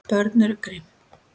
Börn eru grimm.